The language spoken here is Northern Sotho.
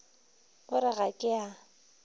o re ga ke a